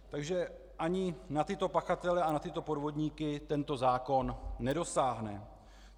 Takže ani na tyto pachatele a na tyto podvodníky tento zákon nedosáhne.